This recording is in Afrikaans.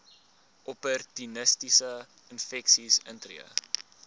opportunistiese infeksies intree